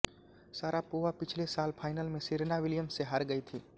Sharapova पिछले साल final में सेरेना विलियम्स से हार गई थीं